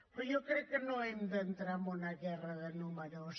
però jo crec que no hem d’entrar en una guerra de números